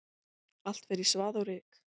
Allt fer í svað og ryk.